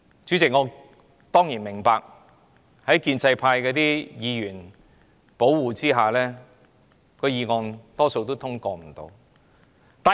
主席，我當然明白在建制派議員的護航下，今天的議案大多數也不會獲得通過。